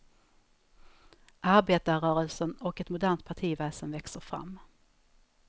Arbetarrörelsen och ett modernt partiväsen växer fram.